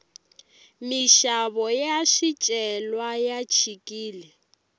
minxavo ya swicelwa ya chikile